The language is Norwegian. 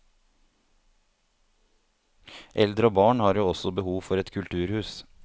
Eldre og barn har jo også behov for et kulturhus.